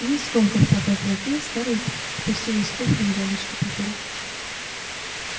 и скомкав платок в руке скарлетт спустилась в кухню к дядюшке питеру